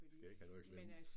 Skal ikke have noget i klemme